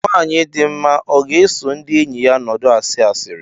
Nwanyị dị mma ọ ga-eso ndị enyi ya nọdụ asị asịrị